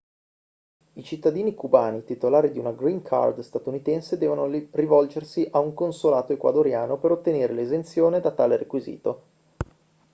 i cittadini cubani titolari di una green card statunitense devono rivolgersi a un consolato ecuadoriano per ottenere l'esenzione da tale requisito